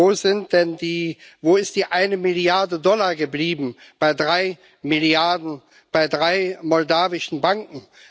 Wo ist denn die eine Milliarde Dollar geblieben, bei drei Milliarden, bei drei moldauischen Banken?